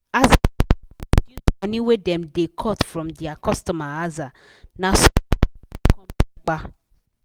as bank come reduce money wey dem da cut from dia cutomer aza na so complain no come yapa